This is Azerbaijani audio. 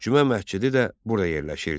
Cümə məscidi də burada yerləşirdi.